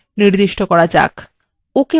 ok button click করুন